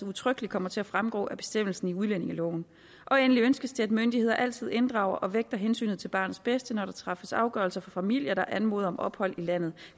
udtrykkeligt kommer til at fremgå af bestemmelsen i udlændingeloven endelig ønskes det at myndigheder altid inddrager og vægter hensynet til barnets bedste når der træffes afgørelser for familier der anmoder om ophold i landet